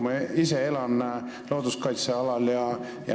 Ma ise elan looduskaitsealal.